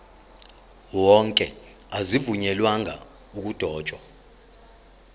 wonke azivunyelwanga ukudotshwa